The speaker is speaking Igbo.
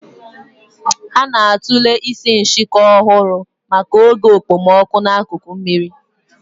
Ha na-atụle isi nshịkọ ọhụrụ maka oge okpomọkụ n'akụkụ osimiri